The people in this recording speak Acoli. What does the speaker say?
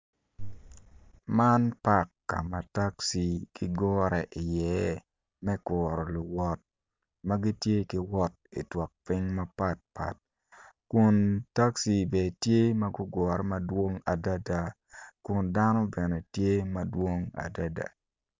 Eni kono tye latin awobi, awobi eni kono tye ma oruko long ma bule en kono tye ma oruko gin blue i cinge en kono tye ka dongo taya. Taya eni kono tye ma kitweyo malo, awobi eni kono tye ka pwonye.